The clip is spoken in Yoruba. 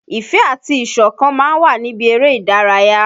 Ìfẹ́ àti ìṣọ̀kan ma ń wà níbi erè ìdárayá.